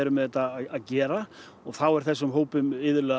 með þetta að gera og þá er þessum hópum